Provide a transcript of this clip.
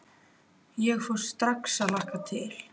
Ég fór strax að hlakka til.